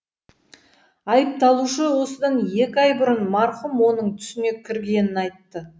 айыпталушы осыдан екі ай бұрын марқұм оның түсіне кіргенін айтты